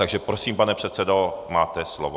Takže prosím, pane předsedo, máte slovo.